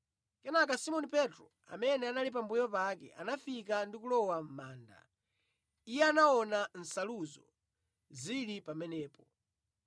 Kenaka Simoni Petro, amene anali pambuyo pake, anafika ndi kulowa mʼmanda. Iye anaona nsaluzo zili pamenepo,